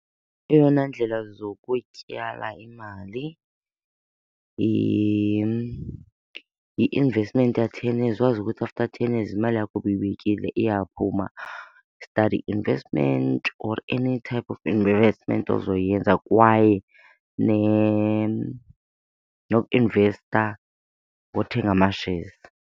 Eyona ndlela zokutyala imali yi-investment ka-ten years wazi ukuthi after ten years imali yakho obuyibekile iyaphuma. Study investment or any type of investment ozoyenza kwaye nokuinvesta ngothenga ama-shares.